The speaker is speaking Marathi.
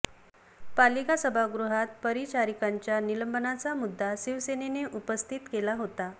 पालिका सभागृहात परिचारिकांच्या निलंबनाचा मुद्दा शिवसेनेने उपस्थित केला होता